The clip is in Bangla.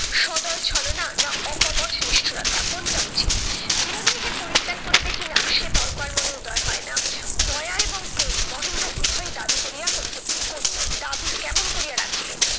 সদয় ছলনা না অকপট নিষ্ঠূরতা কোনটা উচিত? বিনোদিনীকে পরিত্যাগ করিবে কিনা সে তর্ক আর মনে উদয় হয়না। দয়া এবং প্রেম মহেন্দ্র উভয় দাবি করিয়া করিতে দাবি কেমন করিয়া রাখিবে?